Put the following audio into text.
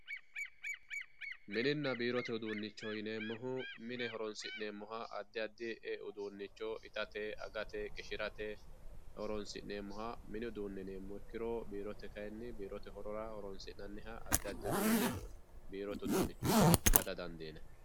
mininna biirote uduunicho yineemohu mine horonsineemoha addi addi uduunicho itate, agate, qishirate horonsi'neemoha mini uduune yineemo ikkiroro biirote kayiini biirote horora horonsi'naniha addi addi uduune biirote uduunicho yine bada dandiinayi